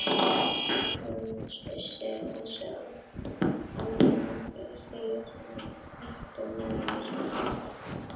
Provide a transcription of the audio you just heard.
Thomas vissi hvað þessi ábending þýddi í raun: Eltu manninn sem blóðgaði þig.